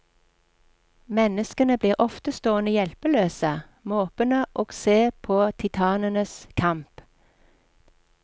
Menneskene blir ofte stående hjelpeløse, måpende og se på titanenes kamp.